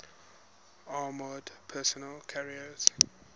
armored personnel carriers